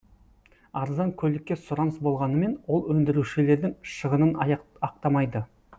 арзан көлікке сұраныс болғанымен ол өндірушілердің шығынын ақтамайды